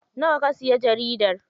Nawa ka siya jaridar?